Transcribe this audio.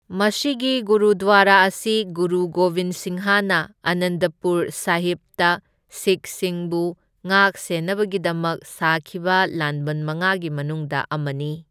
ꯃꯁꯤꯒꯤ ꯒꯨꯔꯗ꯭ꯋꯥꯔꯥ ꯑꯁꯤ ꯒꯨꯔꯨ ꯒꯣꯕꯤꯟ ꯁꯤꯡꯍꯅ ꯑꯥꯅꯟꯗꯄꯨꯔ ꯁꯥꯍꯤꯕꯇ ꯁꯤꯈꯁꯤꯡꯕꯨ ꯉꯥꯛꯁꯦꯟꯅꯕꯒꯤꯗꯃꯛ ꯁꯥꯈꯤꯕ ꯂꯥꯟꯕꯟ ꯃꯉꯥꯒꯤ ꯃꯅꯨꯡꯗ ꯑꯃꯅꯤ꯫